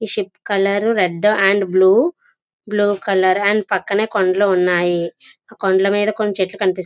Ship colour red and blue blue colour and పక్కన కొండలు ఉనాయి. కొండలా మీద కొన్ని చెట్లు కనిపిస్తున్నాయి.